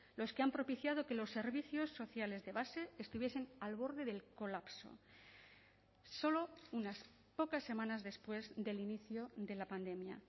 los que han propiciado que los servicios sociales de base estuviesen al borde del colapso solo unas pocas semanas después del inicio de la pandemia